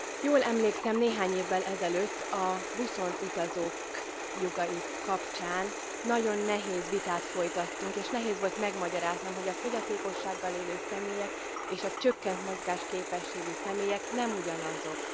Jól emlékszem néhány évvel ezelőtt a buszon utazók jogai kapcsán nagyon nehéz vitát folytattunk, és nehéz volt megmagyaráznom, hogy a fogyatékossággal élő személyek és a csökkent mozgásképességű személyek nem ugyanazok.